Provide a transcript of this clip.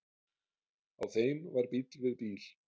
Á þeim var bíll við bíl.